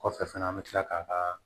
Kɔfɛ fana an bɛ tila k'a